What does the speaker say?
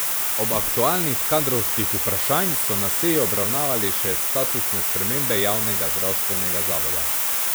Ob aktualnih kadrovskih vprašanj so na seji obravnavali še statusne spremembe javnega zdravstvenega zavoda.